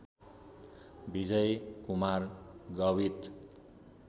Vijay Kumar Gavit